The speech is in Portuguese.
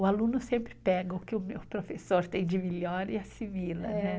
O aluno sempre pega o que o meu professor tem de melhor e assimila, né?